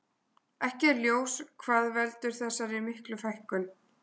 Ekki er ljós hvað veldur þessar miklu fækkun.